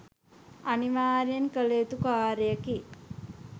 අනිවාර්යයෙන් කළ යුතු කාර්යයකි.